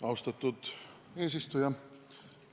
Austatud eesistuja!